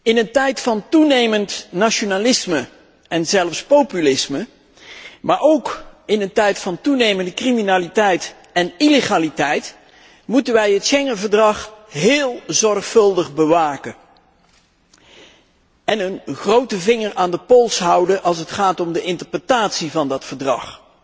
In een tijd van toenemend nationalisme en zelfs populisme, maar ook in een tijd van toenemende criminaliteit en illegaliteit moeten wij het Verdrag van Schengen heel zorgvuldig bewaken en een grote vinger aan de pols houden als het gaat om de interpretatie van dat verdrag.